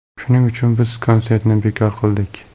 Shuning uchun biz konsertni bekor qildik.